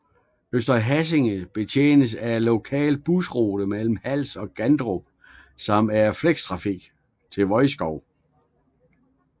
Øster Hassing betjenes af en lokal busrute mellem Hals og Gandrup samt af flextrafik til Vodskov